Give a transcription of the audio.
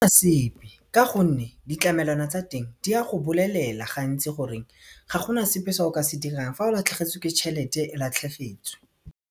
sepe ka gonne ditlamelwana tsa teng di a go bolelela gantsi gore ga gona sepe se o ka se dirang fa o latlhegetswe ke tšhelete o latlhegetswe.